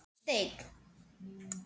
Verður sem steinn.